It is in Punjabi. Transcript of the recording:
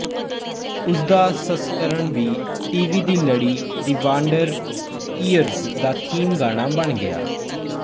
ਉਸ ਦਾ ਸੰਸਕਰਣ ਵੀ ਟੀਵੀ ਦੀ ਲੜੀ ਦਿ ਵਾਂਡਰ ਈਅਰਜ਼ ਦਾ ਥੀਮ ਗਾਣਾ ਬਣ ਗਿਆ